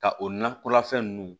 Ka o nakɔla fɛn ninnu